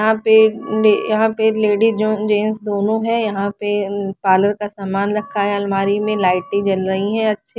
यहाँ पे अ यहाँ पे लेडिज और जेंट्स दोनों है यहाँ पे पारलर का सामान रखा है अलमारी में लाइटे जल रही है आच्छी --